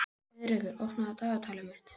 Heiðrekur, opnaðu dagatalið mitt.